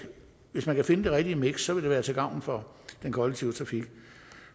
hvis man kan finde det rigtige miks det vil være til gavn for den kollektive trafik